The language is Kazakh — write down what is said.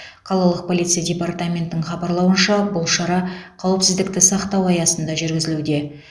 қалалық полиция департаментінің хабарлауынша бұл шара қауіпсіздікті сақтау аясында жүргізілуде